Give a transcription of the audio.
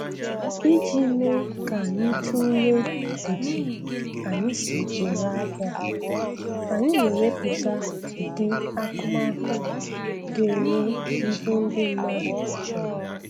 Iji mee ka anyị tulee etu anyị si ere ahịa, anyị na-ewepụta ụdị akụmakụ ga-enye ihe ndị mmadụ chọrọ